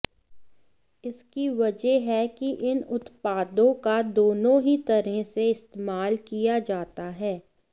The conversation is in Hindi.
इसकी वजह है कि इन उत्पादों का दोनों ही तरह से इस्तेमाल किया जाता है